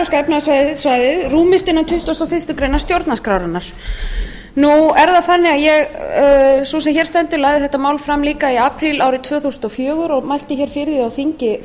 efnahagssvæðið rúmist innan tuttugasta og fyrstu grein stjórnarskrárinnar nú er það þannig að sú sem hér stendur lagði þetta mál fram líka í apríl árið tvö þúsund og fjögur og mælti fyrir því á þingi